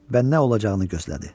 Və nə olacağını gözlədi.